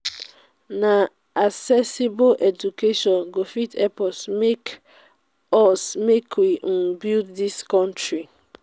na accessible education go fit help us make us make we um build dis country.